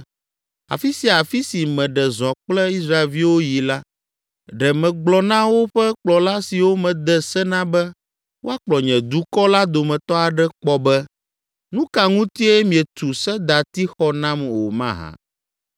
Afi sia afi si meɖe zɔ kple Israelviwo yi la, ɖe megblɔ na woƒe kplɔla siwo mede se na be woakplɔ nye dukɔ la dometɔ aɖe kpɔ be, “Nu ka ŋutie mietu sedatixɔ nam o mahã?” ’